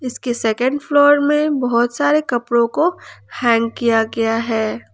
इसके second floor में बहुत सारे कपड़ों को हैंग किया गया है।